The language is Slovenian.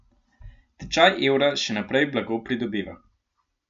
Tečaj evra še naprej blago pridobiva.